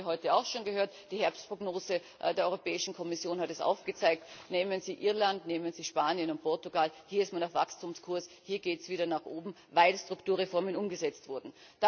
Das haben wir heute auch schon gehört, die Herbstprognose der Europäischen Kommission hat es aufgezeigt Nehmen Sie Irland, nehmen Sie Spanien und Portugal, hier ist man auf Wachstumskurs, hier geht es wieder nach oben, weil die Strukturreformen umgesetzt wurden.